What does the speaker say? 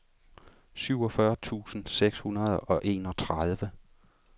syvogfyrre tusind seks hundrede og enogtredive